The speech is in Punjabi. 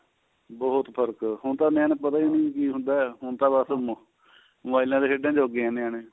ਬਹੁਤ ਫਰਕ ਏ ਹੁਣ ਤਾਂ ਨਿਆਣਿਆ ਨੂੰ ਪਤਾ ਨੀਂ ਕੀ ਹੁੰਦਾ ਹੁਣ ਤਾਂ ਬੱਸ ਮੋਬਾਇਲਾ ਤੇ ਖੇਡਣ ਜੋਗੇ ਏ ਨਿਆਣੇ